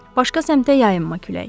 Başqa səmtə yayılma külək.